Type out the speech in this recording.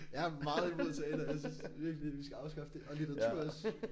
Jeg er meget imod teater. Jeg synes virkelig vi skal afskaffe det. Og litteratur også